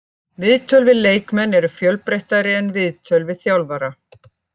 Viðtöl við leikmenn eru fjölbreyttari en viðtöl við þjálfara.